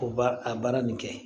O ba a baara nin kɛ